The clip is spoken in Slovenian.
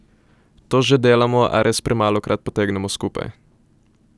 To že delamo, a res premalokrat potegnemo skupaj.